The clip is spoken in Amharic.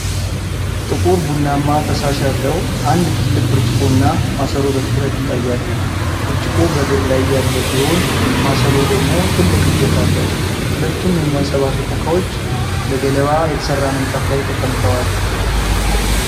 ጥቁር ቡናማ ፈሳሽ ያለው አንድ ትልቅ ብርጭቆና ማሰሮ በትኩረት ይታያሉ። ብርጭቆው በእግር ላይ ያለ ሲሆን፣ ማሰሮው ደግሞ ትልቅ እጀታ አለው። ሁለቱም የሚያንፀባርቁ ዕቃዎች በገለባ የተሰራ ምንጣፍ ላይ ተቀምጠዋል።